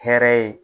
Hɛrɛ ye